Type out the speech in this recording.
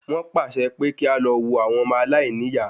Wọ́n pàṣẹ pé kí a lọ wó ilé àwọn ọmọ aláìní ìyá